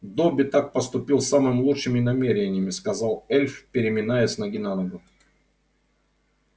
добби так поступил с самыми лучшими намерениями сказал эльф переминаясь с ноги на ногу